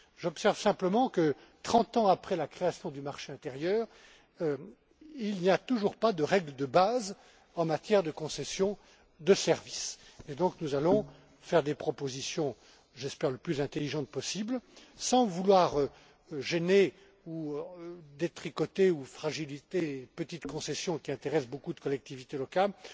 J'observe simplement que, trente ans après la création du marché intérieur, il n'existe toujours pas de règles de base en matière de concessions de services. Nous allons donc faire des propositions, j'espère les plus intelligentes possibles, sans vouloir gêner, détricoter ou fragiliser les petites concessions qui intéressent beaucoup de collectivités locales.